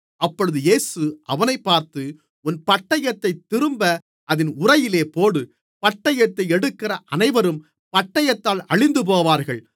அப்பொழுது இயேசு அவனைப் பார்த்து உன் பட்டயத்தைத் திரும்ப அதின் உறையிலே போடு பட்டயத்தை எடுக்கிற அனைவரும் பட்டயத்தால் அழிந்துபோவார்கள்